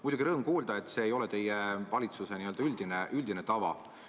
Muidugi, rõõm kuulda, et see ei ole teie valitsuse üldine tava.